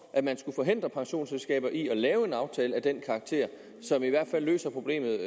at man skulle forhindre pensionsselskaber i at lave en aftale af den karakter som i hvert fald løser problemet